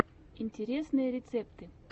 интересные рецепты